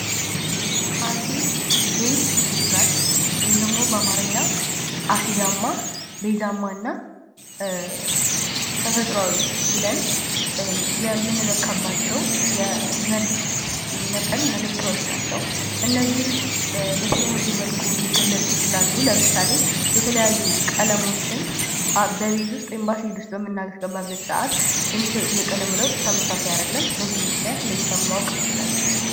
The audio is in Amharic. አሲድ ቤዝ ኒውትራል ወይም ደግሞ በአማርኛ አሲዳማ ቤዛማና ተፈጥሯዊ ብለን የምንለካባቸው የመርዝ መጠን መለኪያዎች ናቸው። እነዚህ በተለያየ መልኩ ሊገለፁ ይችላሉ። ለምሳሌ የተለያዩ ቀለሞችን በቤዝ ውስጥ ወይም በአሲድ ውስጥበምናስገባበት የሚሰጡት የቀለም ለውጥ ተመሳሳይ አይደለም። በዚህም ምክንያት ለይተን ማወቅ እንችላለን።